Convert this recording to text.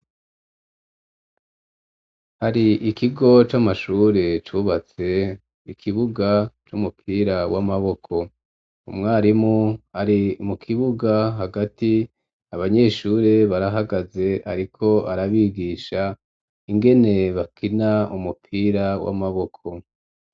Hari ikigo c'amashure, cubatse ikibuga c'umupira w'amaboko, umwarimu ari mu kibuga hagati, abanyeshure barahagaze, ariko arabigisha ingene bakina umupira w'amaboko.